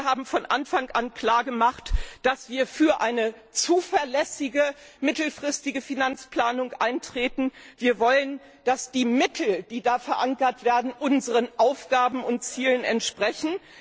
Wir haben von Anfang an klar gemacht, dass wir für eine zuverlässige mittelfristige Finanzplanung eintreten. Wir wollen, dass die Mittel, die da verankert werden, unseren Aufgaben und Zielen entsprechen.